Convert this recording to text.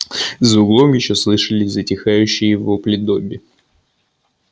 за углом ещё слышались затихающие вопли добби